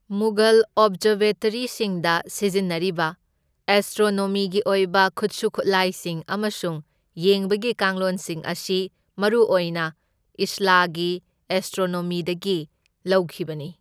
ꯃꯨꯘꯜ ꯑꯣꯕꯖꯔꯕꯦꯇꯔꯤꯁꯤꯡꯗ ꯁꯤꯖꯤꯟꯅꯔꯤꯕ ꯑꯦꯁꯇ꯭ꯔꯣꯅꯣꯃꯤꯒꯤ ꯑꯣꯏꯕ ꯈꯨꯠꯁꯨ ꯈꯨꯠꯂꯥꯏꯁꯤꯡ ꯑꯃꯁꯨꯡ ꯌꯦꯡꯕꯒꯤ ꯀꯥꯡꯂꯣꯟꯁꯤꯡ ꯑꯁꯤ ꯃꯔꯨꯑꯣꯏꯅ ꯏꯁꯂꯥꯒꯤ ꯑꯦꯁꯇ꯭ꯔꯣꯅꯣꯃꯤꯗꯒꯤ ꯂꯧꯈꯤꯕꯅꯤ꯫